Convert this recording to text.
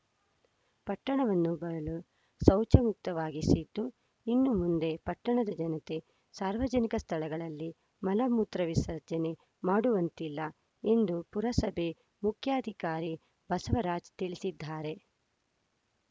ಪಟ್ಟಣವನ್ನು ಬಯಲು ಶೌಚ ಮುಕ್ತವಾಗಿಸಿದ್ದು ಇನ್ನು ಮುಂದೆ ಪಟ್ಟಣದ ಜನತೆ ಸಾರ್ವಜನಿಕ ಸ್ಥಳಗಳಲ್ಲಿ ಮಲ ಮೂತ್ರ ವಿಸರ್ಜನೆ ಮಾಡುವಂತಿಲ್ಲ ಎಂದು ಪುರಸಭೆ ಮುಖ್ಯಾಧಿಕಾರಿ ಬಸವರಾಜ್‌ ತಿಳಿಸಿದ್ದಾರೆ